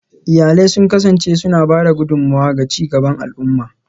Iyalai sun kasance suna ba da gudummawa ga ci gaban al'umma